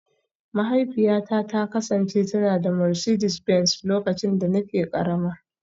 Mahaifiyata ta kasance tana da Mercedes Benz lokacin da nake karama